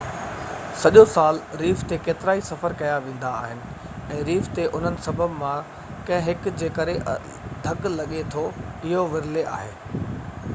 سڄو سال ريف تي ڪيترائي سفر ڪيا ويندا آهن ۽ ريف تي انهن سبب مان ڪنهن هڪ جي ڪري ڌڪ لڳي ٿو اهو ورلي آهي